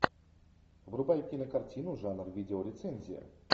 врубай кинокартину жанр видео рецензия